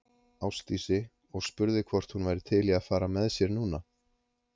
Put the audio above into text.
Ásdísi og spurði hvort hún væri til í að fara með sér núna.